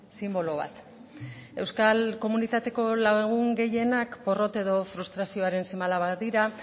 sinbolo bat euskal komunitateko lagun gehienak porrot edo frustrazioaren seme alabak dira